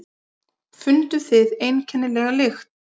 Funduð þið einkennilega lykt?